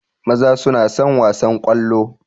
Maza suna son wasan ƙwallo